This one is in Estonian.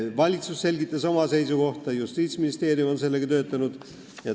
Valitsus selgitas oma seisukohta, Justiitsministeerium on sellega töötanud.